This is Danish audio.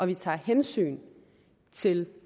vi tager hensyn til